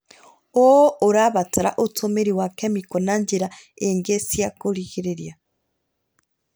ũũ ũrabatara ũtũmĩri wa kemiko na njĩra ingĩ cia kũgirĩrĩria